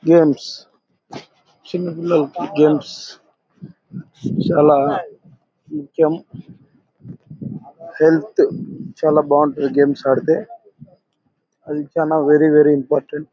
Games చిన్న పిల్లలకి games చాల నిత్యం హెల్త్ చాల బాగుంటది. గేమ్స్ ఆడితే అది చాల వెరీ-వెరీ ఇంపార్టెంట్ .